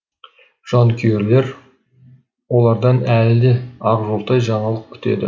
жанкүйерлер олардан әлі де ақжолтай жаңалық күтеді